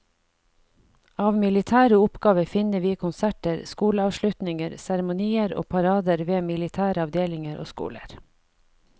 Av militære oppgaver finner vi konserter, skoleavslutninger, seremonier og parader ved militære avdelinger og skoler.